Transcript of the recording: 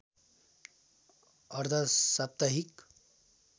अर्ध साप्ताहिक